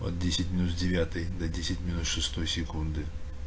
от десять минус девятой до десять минус шестой секунды